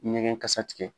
Ɲɛgɛn kasa tigɛ